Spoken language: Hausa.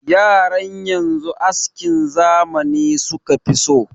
Yaran yanzu askin zamani suka fi so.